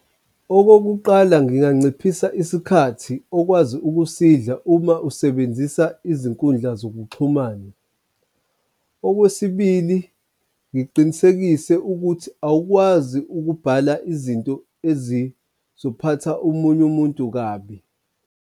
Okokuqala nginganciphisa isikhathi okwazi ukusidla uma usebenzisa izinkundla zokuxhumana. Okwesibili, ngiqinisekise ukuthi awukwazi ukubhala izinto ezizophatha omunye umuntu kabi.